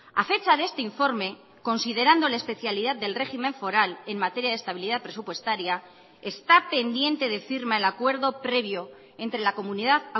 a fecha de este informe considerando la especialidad del régimen foral en materia de estabilidad presupuestaria está pendiente de firma el acuerdo previo entre la comunidad